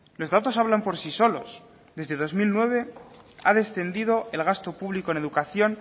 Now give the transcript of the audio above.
los datos hablan por sí solos desde dos mil nueve ha descendido el gasto público en educación